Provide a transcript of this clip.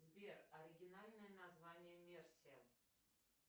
сбер оригинальное название мерсия